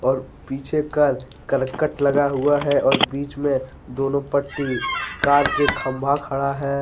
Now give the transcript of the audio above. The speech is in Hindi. और पीछे का करकट लगा हुआ है और बीच में दोनों पट्टी कार के खंभा खड़ा है।